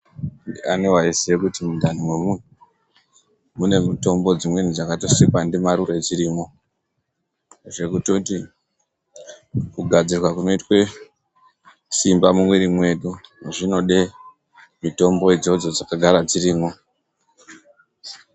Ndiani waiziye kuti mundani memunhu mune mitombo dzimweni dzakatosikwa ndimarure dzirimwo zvekutoti kugadzirwa kunoitwe simba mumwiri mwedu zvinode mitombo idzodzo dzakagara dzirimwo.